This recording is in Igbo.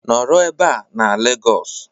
Nọrọ ebe a na Lagos